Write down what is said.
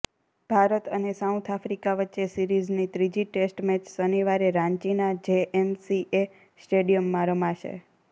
ભારત અને South Africa વચ્ચે સીરિઝની ત્રીજી ટેસ્ટ મેચ શનિવારે રાંચીના જેએસસીએ સ્ટેડિયમમાં રમાશે